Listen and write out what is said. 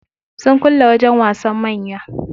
Sun kulle wajen wasan manya.